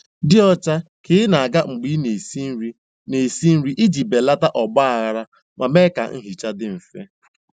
Dị ọcha ka ị na-aga mgbe ị na-esi nri na-esi nri iji belata ọgbaghara ma mee ka nhicha dị mfe.